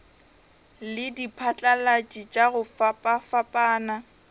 le diphatlalatši tša go fapafapana